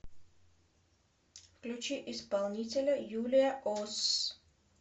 включи исполнителя юлия ос